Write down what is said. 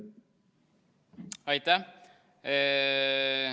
Aitäh!